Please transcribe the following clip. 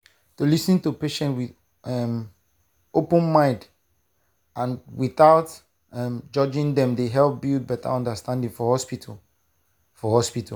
to lis ten to patients with um open mind and without um judging dem dey help build better understanding for hospital. for hospital.